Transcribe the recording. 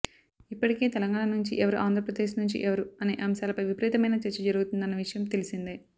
ఇప్పటికే తెలంగాణ నుంచి ఎవరు ఆంధ్రప్రదేశ్ నుంచి ఎవరు అనే అంశాలపై విపరీతమైన చర్చ జరుగుతున్న విషయం తెలిసిందే